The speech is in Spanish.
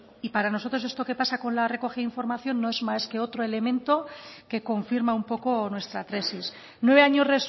y para nosotros esto que pasa con la recogida de información no es más que otro elemento que confirma un poco nuestra tesis nueve años